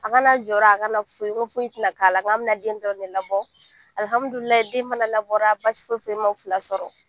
An kana jɔrɔ an kana foyi, ko foyi tɛna k'a la an bɛ na den dɔnrɔn de labɔ, alhammudulilayi den fana labɔra basi foyi ma u fila sɔrɔ.